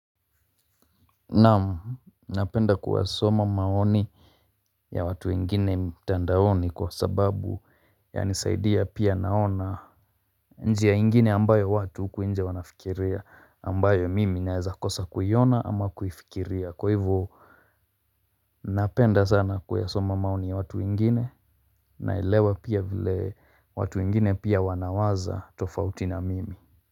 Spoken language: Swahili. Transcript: Naam, napenda kuwasoma maoni ya watu wengine mitandaoni kwa sababu ya nisaidia pia naona njia nyingine ambayo watu huku nje wanafikiria ambayo mimi naweza kosa kuiona ama kuifikiria kwa hivyo. Napenda sana kuyasoma maoni ya watu wengine naelewa pia vile watu wengine pia wanawaza tofauti na mimi.